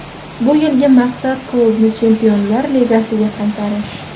Bu yilgi maqsad klubni Chempionlar ligasiga qaytarish.